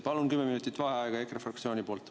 Palun kümme minutit vaheaega EKRE fraktsiooni nimel.